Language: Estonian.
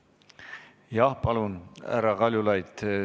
Jah, palun, härra Kaljulaid!